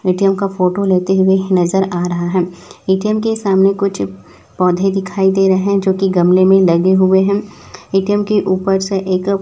ATM का photo लेते हुए नजर आ रहा है ए_टी_एम के सामने कुछ पौधे दिखाई दे रहे हैं जो की गमले में लगे हुए हैं ए_टी_एम के ऊपर से एक--